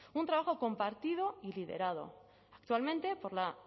un trabajo compartido y liderado actualmente por la